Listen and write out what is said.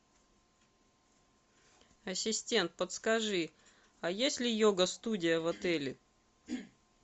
ассистент подскажи а есть ли йога студия в отеле